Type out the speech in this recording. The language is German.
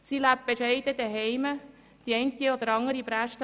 Sie lebt bescheiden zuhause, die eine oder andere «Bräschte» lässt